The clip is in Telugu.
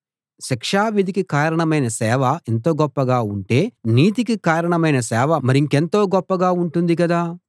శిక్షా విధికి కారణమైన సేవ ఇంత గొప్పగా ఉంటే నీతికి కారణమైన సేవ మరింకెంతో గొప్పగా ఉంటుంది గదా